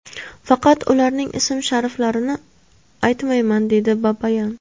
Faqat ularning ism-shariflarini aytmayman”, dedi Babayan.